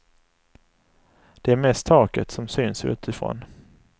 Det är mest taket som syns utifrån.